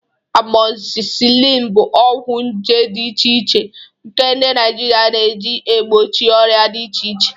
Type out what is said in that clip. Amozisilin bụ ọgwụ nje dị iche iche nke ndị Naijiria na-eji egbochi ọrịa dị iche iche.